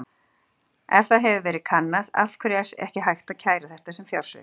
Ef það hefur verið kannað: Af hverju er ekki hægt að kæra þetta sem fjársvik?